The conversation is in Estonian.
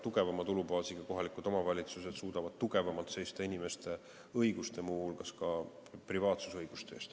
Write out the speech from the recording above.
Tugevama tulubaasiga kohalikud omavalitsused suudavad tugevamalt seista inimeste õiguste, muu hulgas privaatsusõiguste eest.